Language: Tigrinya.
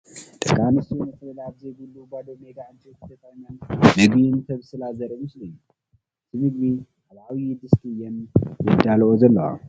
ደቂ ኣንስትዮ መፅለሊ ኣብዘይብሉ ባዶ ሜዳ ዕንጨይቲ ተጠቒመን ምግቢ እንተብስላ ዘርኢ ምስሊ እዩ፡፡ እቲ ምግቢ ኣብ ዓብዪ ድስቲ እየን የዳልዎኦ ዘለዋ፡፡